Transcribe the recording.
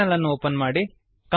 terminal ಅನ್ನು open ಮಾಡಿ